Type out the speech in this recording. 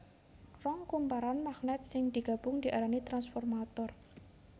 Rong kumparan magnèt sing digabung diarani transformator